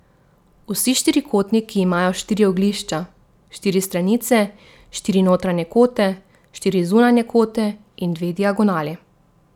Vsi štirikotniki imajo štiri oglišča, štiri stranice, štiri notranje kote, štiri zunanje kote in dve diagonali.